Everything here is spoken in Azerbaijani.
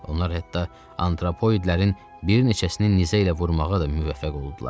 Onlar hətta antropoidlərin bir neçəsini nizə ilə vurmağa da müvəffəq oldular.